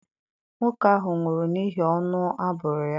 Nwoke ahụ nwụrụ n'ihi ọnụ a bụrụ ya.